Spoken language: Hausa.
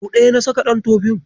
Sau ɗaya na saka ɗan tofin.